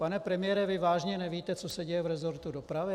Pane premiére, vy vážně nevíte, co se děje v resortu dopravy?